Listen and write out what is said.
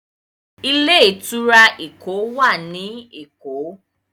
Ilé-ìtura Ẹkọ wá ní èkó.